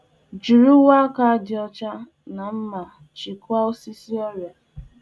Jiri ihe mkpuchi aka dị dị ọcha na mma iji lekọtaa ihe a kụrụ n'ubi bu ọrịa.